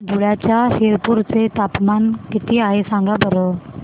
धुळ्याच्या शिरपूर चे तापमान किता आहे सांगा बरं